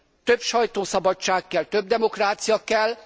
Több sajtószabadság kell, több demokrácia kell.